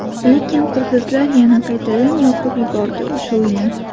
Lekin qirg‘izlar yana qaytadan yoqib yubordi o‘sha uyni.